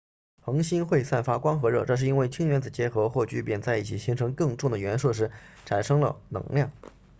恒星会散发光和热这是因为氢原子结合或聚变在一起形成更重的元素时产生了能量